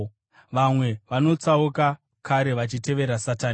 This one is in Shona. Vamwe vakatotsauka kare vachitevera Satani.